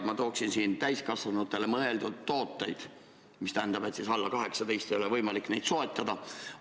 Ma toon välja täiskasvanutele mõeldud tooted, mis tähendab, et alla 18 eluaasta ei ole võimalik neid soetada.